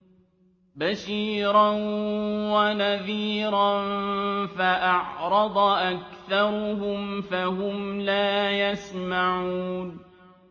بَشِيرًا وَنَذِيرًا فَأَعْرَضَ أَكْثَرُهُمْ فَهُمْ لَا يَسْمَعُونَ